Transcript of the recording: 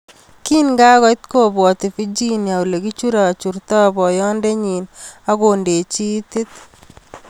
Kingakoit kobwoti Virginia olekichurachurta boyondonyin ak kondechi tiit.